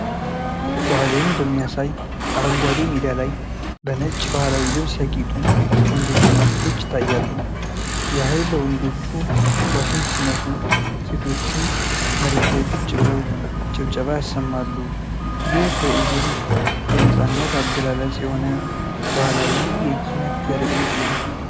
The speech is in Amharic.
ባህልን በሚያሳይ አረንጓዴ ሜዳ ላይ፣ በነጭ ባህላዊ ልብስ ያጌጡ ወንዶችና ሴቶች ይታያሉ። ያህል ወንዶቹ ዋሽንት ሲነፉ፣ ሴቶቹ መሬት ላይ ቁጭ ብለው ጭብጨባ ያሰማሉ። ይህ ትዕይንት የነፃነት አገላለጽ የሆነ ባህላዊ የኪነት ትርኢት ነው።